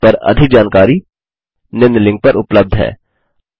इस पर अधिक जानकारी निम्न लिंक पर उपलब्ध है